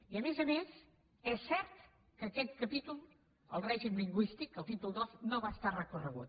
i a més a més és cert que aquest capítol el règim lingüístic el títol ii no va ser recorregut